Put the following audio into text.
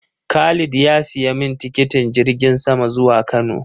Khalid ya siya min tikitin jirgin sama zuwa Kano